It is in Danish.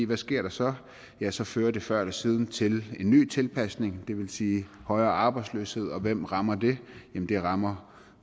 hvad sker der så ja så fører det før eller siden til en ny tilpasning det vil sige højere arbejdsløshed og hvem rammer det det rammer